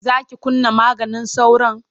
Za ki kunna maganin sauron?